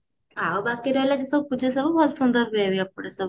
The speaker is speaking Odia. ଆଉ ବାକି ରହିଲା ସେସବୁ ପୂଜା ସବୁ ଭଲ ସୁନ୍ଦର ହୁଏ ବି ଏପଟେ ସବୁ